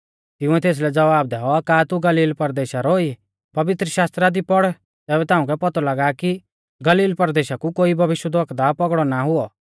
तिंउऐ तेसलै ज़वाब दैऔ का तू भी गलीला परदेशा रौ ई पवित्रशास्त्रा दी पढ़ तैबै ताउंकै पौतौ लागा कि गलील परदेशा कु कोई भविष्यवक्ता पौगड़ौ ता ना हुऔ